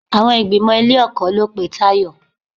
Àwọn ìgbìmò ilé-ẹ̀kọ́ ló pe Tayọ.